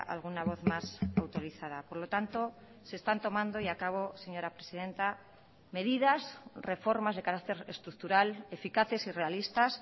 a alguna voz más autorizada por lo tanto se están tomando y acabo señora presidenta medidas reformas de carácter estructural eficaces y realistas